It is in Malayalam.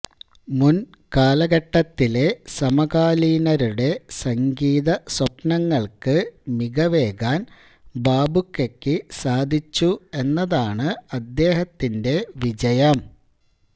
മുൻ കാലഘട്ടത്തിലെ സമകാലീനരുടെ സംഗീത സ്വപ്നങ്ങൾക്ക് മികവേകാൻ ബാബുക്കക്ക് സാധിച്ചു എന്നതാണ് അദ്ദേഹത്തിന്റെ വിജയം